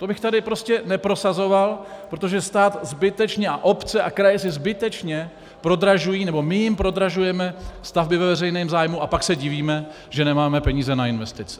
To bych tu prostě neprosazoval, protože stát zbytečně a obce a kraje si zbytečně prodražují nebo my jim prodražujeme stavby ve veřejném zájmu a pak se divíme, že nemáme peníze na investice.